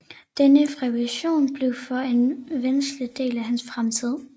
Denne fabrikation blev for en væsentlig del hans fremtid